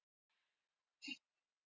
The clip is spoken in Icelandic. En afi lét okkur